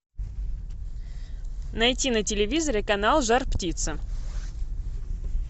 найти на телевизоре канал жар птица